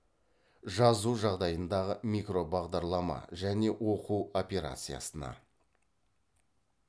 жазу жағдайындағы микробағдарлама және оқу операциясына